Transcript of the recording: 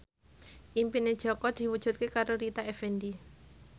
impine Jaka diwujudke karo Rita Effendy